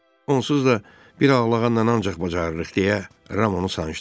Onsuz da bir ağlağanla ancaq bacarırıq deyə Ram onu sancdı.